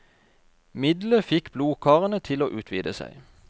Middelet fikk blodkarene til å utvide seg.